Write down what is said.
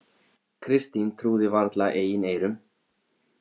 Kristín trúði varla eigin eyrum.